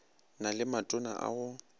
na le matona a go